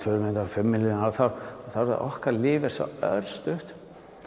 fimm milljón ár þá er okkar líf svo örstutt